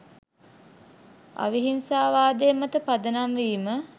අවිහිංසාවාදය මත පදනම් වීම